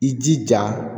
I jija